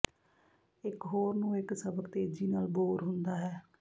ਇਕ ਹੋਰ ਨੂੰ ਇੱਕ ਸਬਕ ਤੇਜ਼ੀ ਨਾਲ ਬੋਰ ਹੁੰਦਾ ਹੈ